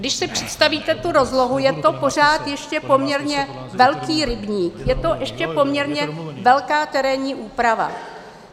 Když si představíte tu rozlohu, je to pořád ještě poměrně velký rybník, je to ještě poměrně velká terénní úprava.